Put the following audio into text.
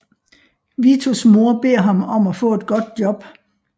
Vitos mor beder ham om at få et godt job